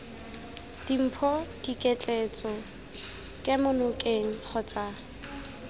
dimpho diketleetso kemo nokeng kgotsa